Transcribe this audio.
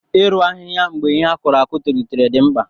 Ị rụ ahịhịa mgbe ihe a kụrụ akụ tolitere dị mkpa.